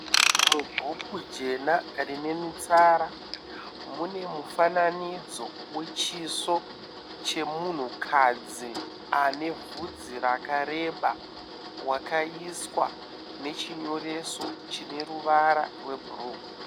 Mubhuku jena rine mitsara. Mune mufananidzo wechiso chemunhukadzi ane bvudzi rakareba wakaiswa nechinyoreso chine ruvara rwebhuruu.